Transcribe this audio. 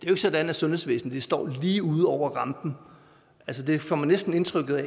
er sådan at sundhedsvæsenet står lige ude over rampen altså det får man næsten indtrykket af